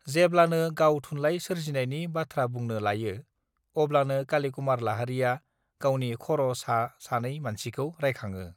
जेब्लानो गाव थुनलाइ सोरजिनायनि बाथ्रा बुंनो लायो अब्लानो काली कुमार लाहारीया गावनि खर सा सानै मानसिखौ रायगंङो